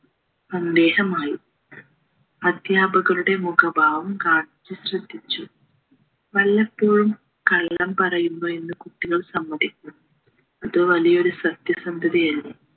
സന്ദേശമായി അദ്ധ്യാപകരുടെ മുഖഭാവം ഗാന്ധിജി ശ്രദ്ധിച്ചു വല്ലപ്പോഴും കള്ളം പറയുന്നു എന്ന കുട്ടികൾ സമ്മതിക്കുന്നു അത് വലിയൊരു സത്യസന്ധതയല്ലേ